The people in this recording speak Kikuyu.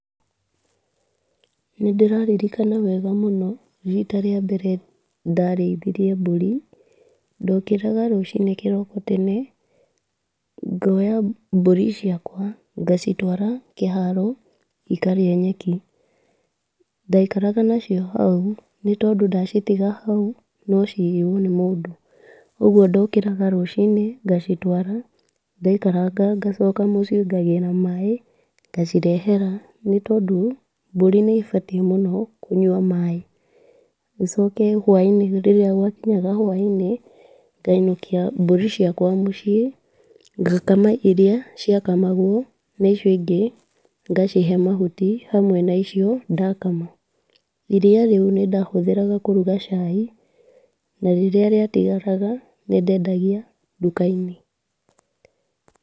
Nĩ ndĩraririkana wega mũno rita rĩa mbere ndarĩithirie mbũri, ndokĩraga rũcini kĩroko tene, ngonya mbũri ciakwa ngacitwara kĩharo ikarĩe nyeki, ndaikaraga nacio hau, nĩ tondũ ndacitiga hau no ciiywo nĩ mũndũ , kwoguo ndokĩraga rũcini ngacitwara, ndaikaraga ngacoka mũciĩ ngagĩra maaĩ, ngacirehera nĩ tondũ, mbũri nĩ ibatiĩ mũno kũnyua maaĩ, gũcoke hwai-inĩ rĩrĩa gwakinyaga hwai-inĩ ngainũkia mbũri ciakwa mũciĩ, ngakama iria ciakamagwo na icio ingĩ ngacihe mahuti hamwe na icio ndakama, iria rĩu nĩ ndahũthagĩra kũruga cai , na rĩrĩa riatigaraga nĩndedagia nduka-inĩ.